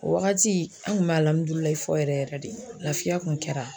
O wagati , an kun be fɔ yɛrɛ yɛrɛ de, lafiya kun kɛra.